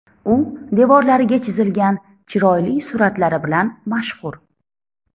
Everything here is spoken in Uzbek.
U devorlariga chizilgan chiroyli suratlari bilan mashhur.